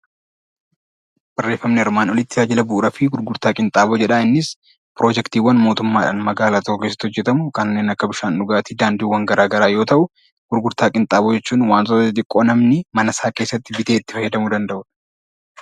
Barreeffamni armaan olitti tajaajila bu'uuraa fi gurgurtaa qinxaaboo jedha. Innis piroojektiiwwan mootummaa magaalaa tokko keessatti hojjetamu kanneen akka bishaan dhugaatii, daandiiwwan garaa garaa yoo ta'u, gurgurtaa qinxaaboo jechuun wantoota xixiqqoo namni mana isaa keessatti bitee itti fayyadamuu danda'udha.